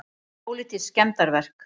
Pólitísk skemmdarverk